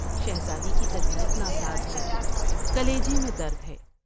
شہزادی کی طبیعت ناساز ہے ، کلیجے میں درد ہے ۔